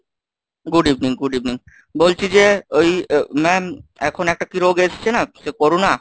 Good evening, good evening বলছি যে ওই ma'am এখন একটা কি রোগ এসেছে না, সে করোনা?